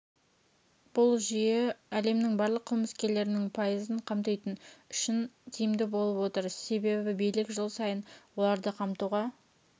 бұл жүйе әлемнің барлық қылмыскерлерінің пайызын қамтитын үшін тиімді болып отыр себебібилік жыл сайын оларды қамтуға